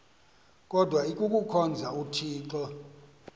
kodwa ikuhkhonza uthixo